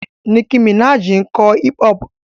Nicki Minaj ń kọ hip-hop.